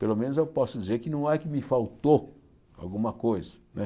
Pelo menos eu posso dizer que não é que me faltou alguma coisa. Não é